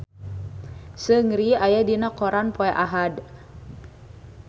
Seungri aya dina koran poe Ahad